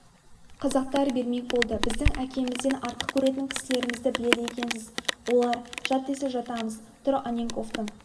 қазақтар бермек болды біздің әкемізден артық көретін кісілерімізді біледі екенсіз олар жат десе жатамыз тұр анненковтың